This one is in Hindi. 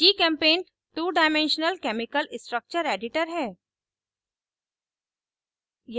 gchempaint two dimensional chemical structure editor chemical structure editor है